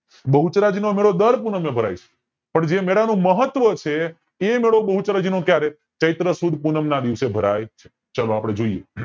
બહુચરાજી નો મેળો દર પૂનમે ભરાય છે પણ જે મેલા નું મહત્વ છે એ મેળો બહુચરાજી નો ક્યારે ચિત્ર સુદ પૂનમ ના દિવસે ભરાય ચ્ચે ચાલો આપડે જોઈ એ